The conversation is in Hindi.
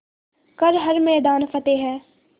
कर हर मैदान फ़तेह